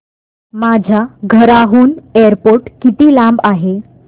माझ्या घराहून एअरपोर्ट किती लांब आहे